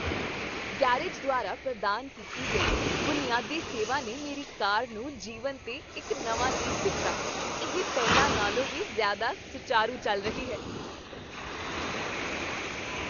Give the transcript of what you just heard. Garage ਦੁਆਰਾ ਪ੍ਰਦਾਨ ਕੀਤੀ ਗਈ ਬੁਨਿਆਦੀ ਸੇਵਾ ਨੇ ਮੇਰੀ ਕਾਰ ਨੂੰ ਜੀਵਨ 'ਤੇ ਇੱਕ ਨਵਾਂ ਲੀਜ਼ ਦਿੱਤਾ, ਇਹ ਪਹਿਲਾਂ ਨਾਲੋਂ ਵੀ ਜ਼ਿਆਦਾ ਸੁਚਾਰੂ ਚੱਲ ਰਹੀ ਹੈ!